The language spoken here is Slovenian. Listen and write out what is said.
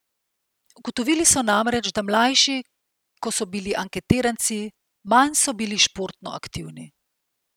Ugotovili so namreč, da mlajši ko so bili anketiranci, manj so bili športno aktivni.